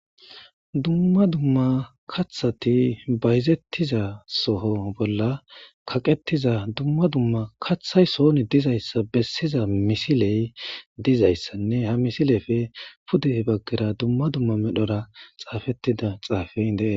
Dumma dumma kathati bayzetiza soho bola kaqetiza dumma dumma kathay soni dizaysa besiza misiley dizaysanne ha misilepe pude bagara dumma dumma medhora xafetida xafey des